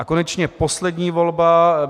A konečně poslední volba: